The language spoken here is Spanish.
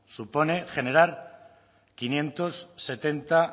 supone generar quinientos setenta